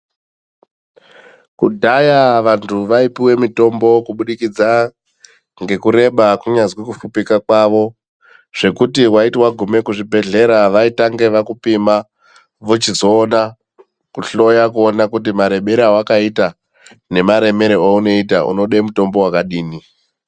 Kudhaya vantu vaipuwe mitombo kubudikidza ngekureba kunyazwi kufupika kwavo zvekuti waiti waguma kuzvibhedhlera vaitange vakupima vochizoona kuhloya kuona kuti marebero awakaita nemaremere aunoita unode mutombo wakadini.